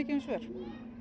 um svör